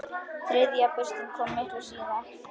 Þriðja burstin kom miklu síðar.